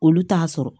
Olu t'a sɔrɔ